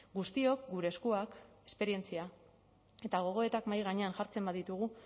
guztiok gure eskuak esperientzia eta gogoetak mahai gainean jartzen baditugu